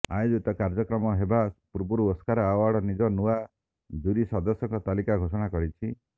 ଆୟୋଜିତ କାର୍ଯ୍ୟକ୍ରମ ହେବା ପୂର୍ବରୁ ଓସ୍କାର ଆୱାର୍ଡ ନିଜ ନୂଆ ଜୁରୀ ସଦସ୍ୟଙ୍କ ତାଲିକା ଘୋଷଣା କରିଛି